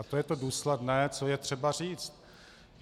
A to je to důsledné, co je třeba říct.